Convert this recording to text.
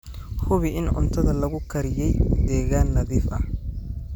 Hubi in cuntada lagu kariyey deegaan nadiif ah.